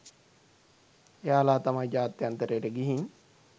එයාලා තමයි ජාත්‍යන්තරයට ගිහින්